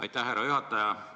Aitäh, härra juhataja!